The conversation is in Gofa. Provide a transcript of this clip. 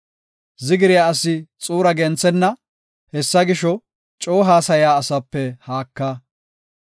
Zigiriya asi xuura genthenna; hessa gisho, coo haasaya asape haaka.